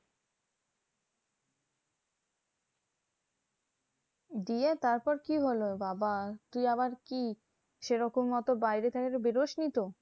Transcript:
দিয়ে তারপর কি হলো? বাবা সে আবার কি সেরকম অত বাইরে টাইরে বেরোসনি তো?